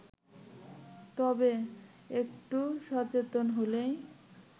তবে একটু সচেতন হলেই